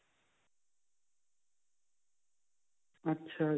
ਅੱਛਾ ਜੀ